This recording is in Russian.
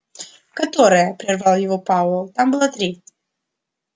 которое прервал его пауэлл там было три